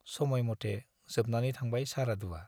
समयमते जोबनानै थांबाय सारादुवा।